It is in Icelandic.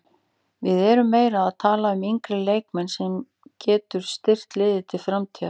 Við erum meira að tala um yngri leikmann sem getur styrkt liðið til framtíðar.